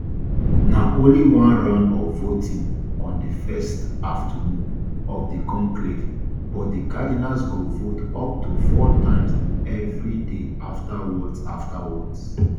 na only one round of voting on di first afternoon of di conclave but di cardinals go vote up to four times every day aftawards aftawards